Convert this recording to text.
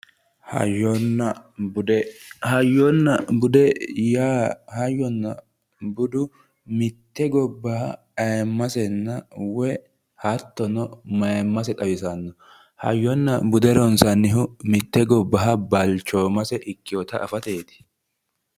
Hayyonna bude hayyonna bude yaa hayyonna budu mitte gobba ayeemmasenna woye hattono mayeemmase xawisanno hayyonna bude ronsannihu mitte gobbaha balchoomase ikkewoota afateeti